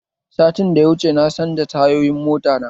Satin da ya wuce na canza tayoyin mota ta